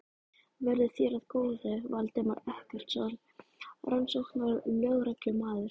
Verði þér að góðu, Valdimar Eggertsson rannsóknarlögreglumaður.